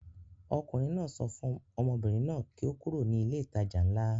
Ọkùnrin náà sọ fún ọmọbìnrin náà kí ó kúrò ní ilé-ìtajà ńlá.